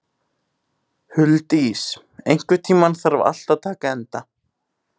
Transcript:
Huldís, einhvern tímann þarf allt að taka enda.